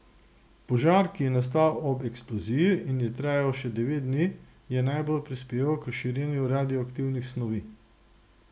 Požar, ki je nastal ob eksploziji in je trajal še devet dni, je najbolj prispeval k širjenju radioaktivnih snovi.